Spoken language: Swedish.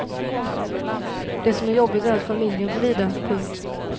Det som är jobbigt är att familjen får lida. punkt